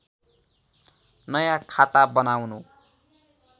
नयाँ खाता बनाउनु